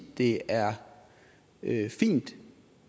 det er fint